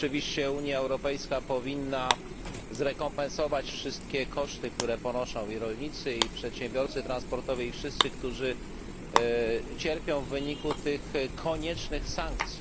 Oczywiście Unia Europejska powinna zrekompensować wszystkie koszty, które ponoszą i rolnicy, i przedsiębiorcy transportowi, i wszyscy, którzy cierpią w wyniku tych koniecznych sankcji.